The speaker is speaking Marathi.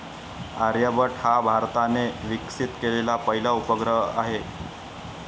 आर्यभट्ट हा भारताने विकसित केलेला पहिला उपग्रह आहे.